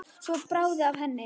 Svo bráði af henni.